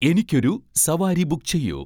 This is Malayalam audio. എനിക്കൊരു സവാരി ബുക്ക് ചെയ്യൂ